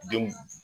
Denw